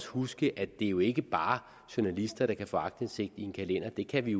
huske at det jo ikke bare er journalister der kan få aktindsigt i en kalender det kan vi